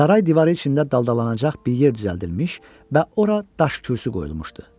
Saray divarı içində daldalanacaq bir yer düzəldilmiş və ora daş kürsü qoyulmuşdu.